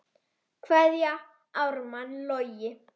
Kveðja, Ármann Logi.